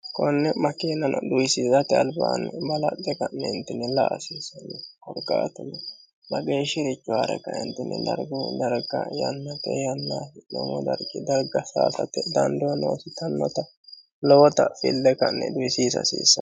konne makiinano duhisiisate albaanni balaxxe ka'neentinni la"a hasiissanno korkaatuno mageeshshi'richo haare ka"eentinni dargu darga yannate yannaa hasi'nomo dargii darga saayisate dandoo noosi yitannota lowota fille ka'ne duhisiisa hasiissanno